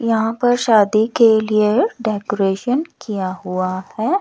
यहां पर शादी के लिए डेकोरेशन किया हुआ है।